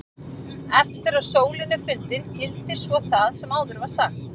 Eftir að sólin er fundin gildir svo það sem áður var sagt.